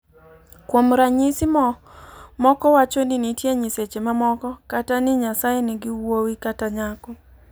Kuom ranyisi, moko wacho ni nitie nyiseche mamoko, kata ni Nyasaye nigi wuowi kata nyako.